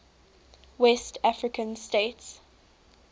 west african states